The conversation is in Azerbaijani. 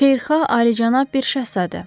Xeyirxah ali-cənab bir şəhzadə.